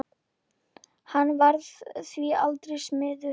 Hann varð því aldrei smiður.